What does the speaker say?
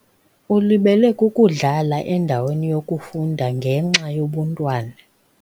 Ulibele kukudlala endaweni yokufunda ngenxa yobuntwana.